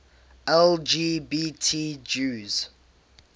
lgbt jews